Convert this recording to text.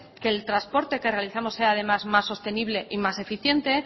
que el trasporte que realizamos sea además más sostenible y más eficiente